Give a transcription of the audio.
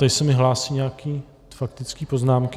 Tady se mi hlásí nějaké faktické poznámky...